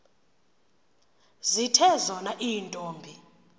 zithe zona iintombi